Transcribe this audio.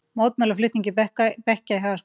Mótmæla flutningi bekkja í Hagaskóla